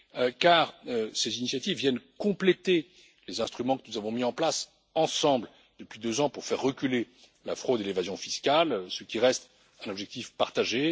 En effet, ces initiatives viennent compléter les instruments que nous avons mis en place ensemble depuis deux ans pour faire reculer la fraude et l'évasion fiscales, ce qui reste un objectif partagé.